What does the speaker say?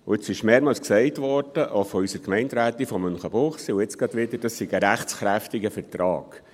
Es wurde mehrmals gesagt, auch von unserer Gemeinderätin aus Münchenbuchsee, und gerade eben wieder, das sei ein rechtskräftiger Vertrag.